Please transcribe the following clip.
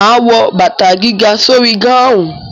Ma wo bàtà gíga sórí gáhùn.